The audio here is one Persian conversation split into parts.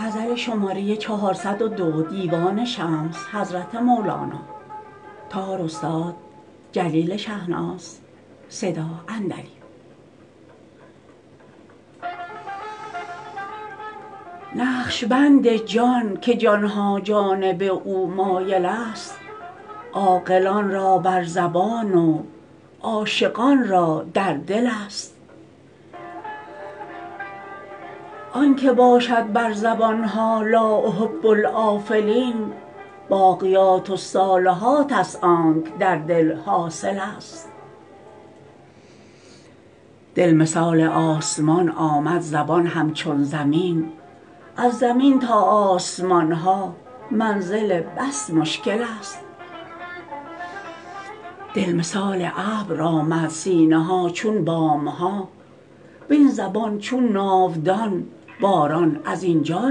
نقش بند جان که جان ها جانب او مایلست عاقلان را بر زبان و عاشقان را در دلست آنکه باشد بر زبان ها لا احب الافلین باقیات الصالحات است آنکه در دل حاصلست دل مثال آسمان آمد زبان همچون زمین از زمین تا آسمان ها منزل بس مشکلست دل مثال ابر آمد سینه ها چون بام ها وین زبان چون ناودان باران از اینجا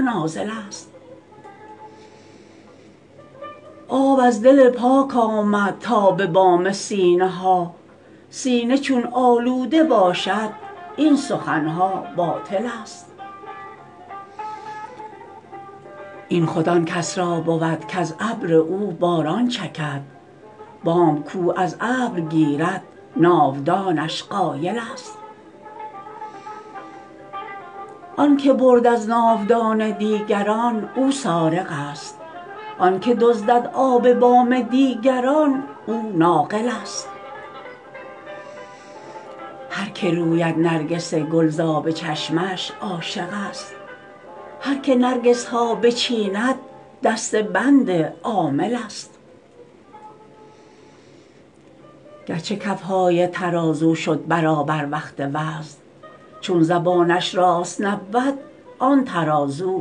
نازلست آب از دل پاک آمد تا به بام سینه ها سینه چون آلوده باشد این سخن ها باطلست این خود آن کس را بود کز ابر او باران چکد بام کاو از ابر گیرد ناودانش قایلست آنکه برد از ناودان دیگران او سارقست آنکه دزدد آب بام دیگران او ناقلست هر که روید نرگس گل ز آب چشمش عاشقست هر که نرگس ها بچیند دسته بند عاملست گرچه کف های ترازو شد برابر وقت وزن چون زبانه ش راست نبود آن ترازو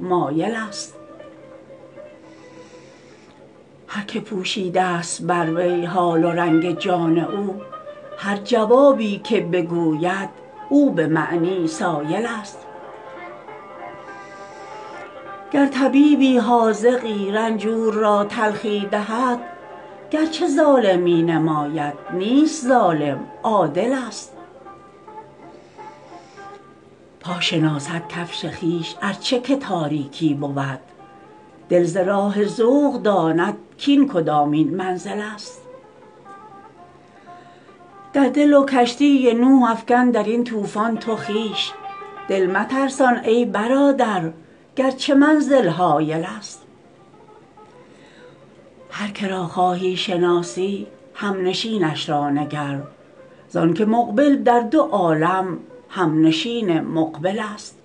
مایلست هر کی پوشیده ست بر وی حال و رنگ جان او هر جوابی که بگوید او به معنی سایلست گر طبیبی حاذقی رنجور را تلخی دهد گرچه ظالم می نماید نیست ظالم عادلست پا شناسد کفش خویش ار چه که تاریکی بود دل ز راه ذوق داند کاین کدامین منزلست در دل و کشتی نوح افکن در این طوفان تو خویش دل مترسان ای برادر گرچه منزل هایلست هر که را خواهی شناسی همنشینش را نگر زانک مقبل در دو عالم همنشین مقبل ست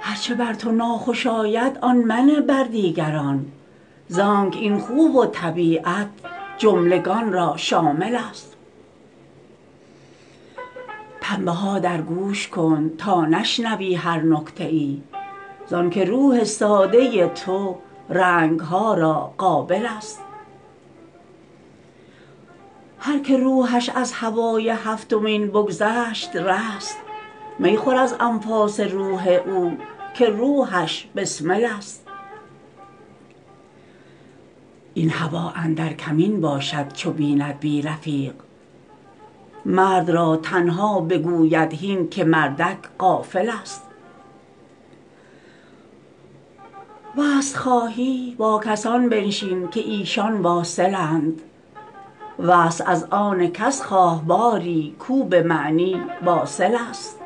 هر چه بر تو ناخوش آید آن منه بر دیگران زانک این خو و طبیعت جملگان را شاملست پنبه ها در گوش کن تا نشنوی هر نکته ای زانک روح ساده ی تو زنگ ها را قابلست هر که روحش از هوای هفتمین بگذشت رست می خور از انفاس روح او که روحش بسملست این هوا اندر کمین باشد چو بیند بی رفیق مرد را تنها بگوید هین که مردک غافل ست وصل خواهی با کسان بنشین که ایشان واصلند وصل از آن کس خواه باری کاو به معنی واصل ست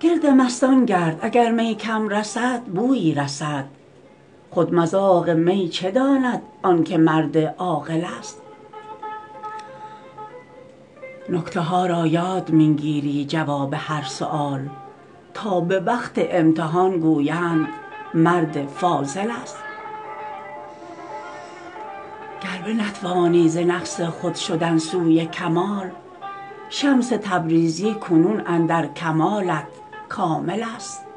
گرد مستان گرد اگر می کم رسد بویی رسد خود مذاق می چه داند آنک مرد عاقلست نکته ها را یاد می گیری جواب هر سؤال تا به وقت امتحان گویند مرد فاضلست گر بنتوانی ز نقص خود شدن سوی کمال شمس تبریزی کنون اندر کمالت کاملست